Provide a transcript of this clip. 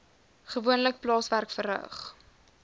gewoonlik plaaswerk verrig